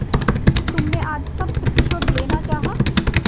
तुमने आज सब प्रतिशोध लेना चाहा